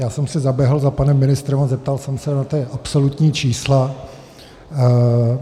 Já jsem si zaběhl za panem ministrem a zeptal jsem se na ta absolutní čísla.